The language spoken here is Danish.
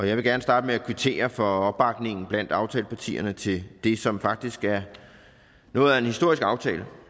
jeg vil gerne starte med at kvittere for opbakningen blandt aftalepartierne til det som faktisk er noget af en historisk aftale